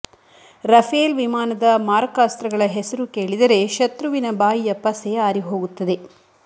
Rafale ವಿಮಾನದ ಮಾರಕಾಸ್ತ್ರಗಳ ಹೆಸರು ಕೇಳಿದರೆ ಶತ್ರುವಿನ ಬಾಯಿಯ ಪಸೆ ಆರಿಹೋಗುತ್ತದೆ